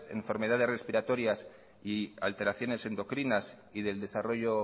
en enfermedades respiratorias y alteraciones endocrinas y del desarrollo